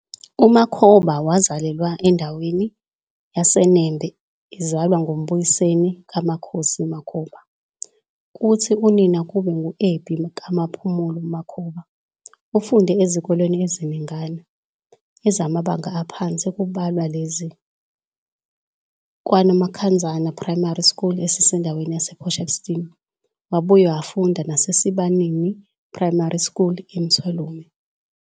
UMakhoba wazalelwa endaweni yaseNembe ezalwa nguMbuyiseni kaMkhosi Makhoba kuthi unina kube ngu-Ebhi kaMaphumulo Makhoba. Ufunde ezkoleni eziningana, ezamabnaga aphansi kubalwa lezi, KwaNomakhanzana Primary School esindaweni yasePort Shepstone wabuye wafunda naseSibanini Primary SChool eMthwalume.